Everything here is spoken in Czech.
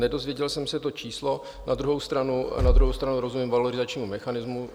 Nedozvěděl jsem se to číslo, na druhou stranu rozumím valorizačnímu mechanismu.